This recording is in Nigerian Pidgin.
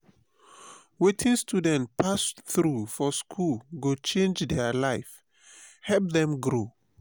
wetin students pass through for school go change their life help dem grow.